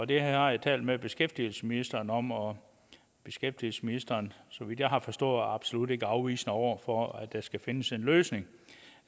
det har jeg talt med beskæftigelsesministeren om og beskæftigelsesministeren så vidt jeg har forstået absolut ikke afvisende over for at der skal findes en løsning